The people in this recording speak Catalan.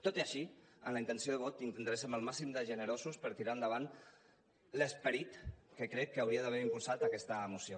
tot i així amb la intenció de vot intentarem ser el màxim de generosos per tirar endavant l’esperit que crec que hauria d’haver impulsat aquesta moció